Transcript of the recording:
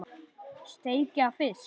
Steikja fisk?